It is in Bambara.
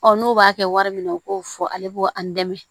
n'u b'a kɛ wari min na u k'o fɔ ale b'o an dɛmɛ